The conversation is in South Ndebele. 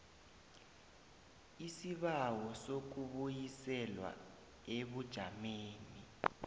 isibawo sokubuyiselwa ebujameni